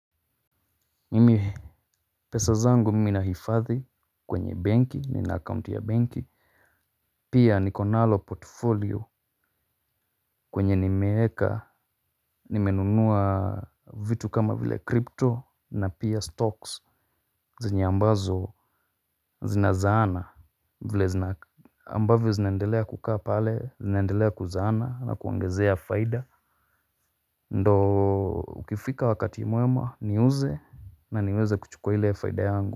Mimi pesa zangu mimi nahifadhi kwenye banki nina account ya banki. Pia niko nalo portfolio kwenye nimeeka nimenunua vitu kama vile crypto na pia stocks zenye ambazo zinazaana ambavyo zinaendelea kukaa pale zinendelea kuzaana na kuongezea faida. Ndo ukifika wakati mweema niuze na niweze kuchukua ile faida yangu.